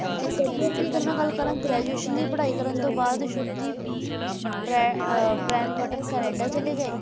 ਤੇ career ਦੀ ਅਗਰ ਮੈਂ ਗੱਲ ਕਰਨ graduation ਦੀ ਪੜ੍ਹਾਈ ਕਰਨ ਤੋਂ ਬਾਅਦ ਸ਼ੁੱਭਦੀਪ ਬ੍ਰਾ`ਬ੍ਰਾਮਤੋਂ ਕਨੇਡਾ ਚਲੇ ਗਏ